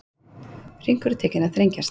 Hringurinn tekinn að þrengjast